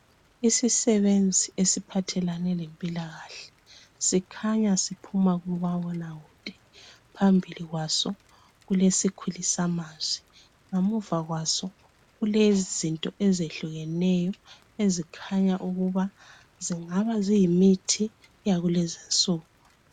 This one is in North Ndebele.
Isisebenzi esiphathelane lempilakahle, sikhanya siphuma kumabonakude. Phambili kwaso kulesikhulisamazwi. Ngemuva kwaso kulezinto ezehlukeneyo ezikhanya ukuba zingabe ziyimithi yakulezinsuku.